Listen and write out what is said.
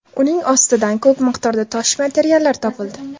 Uning ostidan ko‘p miqdorda tosh materiallar topildi.